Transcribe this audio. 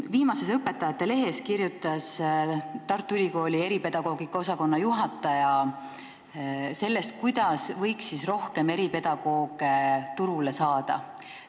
Viimases Õpetajate Lehes kirjutas Tartu Ülikooli eripedagoogika osakonna juhataja sellest, kuidas võiks rohkem eripedagooge turule saada.